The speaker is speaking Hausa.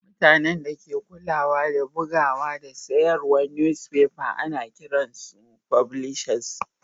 Mutanen da ke kulawa da bugowa da sayarwan nusfefa ana kiran su fublisas.